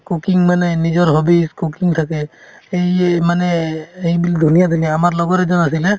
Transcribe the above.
cooking মানে নিজৰ hobbies cooking থাকে এইয়ে মানে এই ধুনীয়া ধুনীয়া আমাৰ লগৰ এজন আছিলে